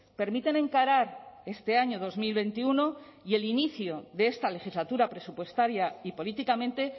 permiten encarar este año dos mil veintiuno y el inicio de esta legislatura presupuestaria y políticamente